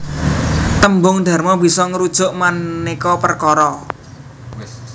Tembung dharma bisa ngrujuk manéka perkara